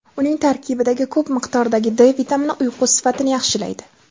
Uning tarkibidagi ko‘p miqdordagi D vitamini uyqu sifatini yaxshilaydi.